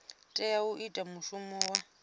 tea u ita mushumo wa